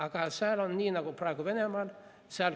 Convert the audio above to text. Aga seal on nii nagu praegu Venemaal.